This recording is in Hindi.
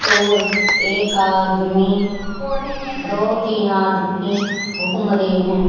और एक आदमी दो तीन आदमी घूम रहे हैं।